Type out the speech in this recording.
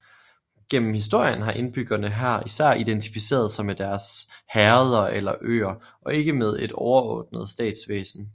Gennem historien har indbyggerne her især identificeret sig med deres herreder eller øer og ikke med et overordnet statsvæsen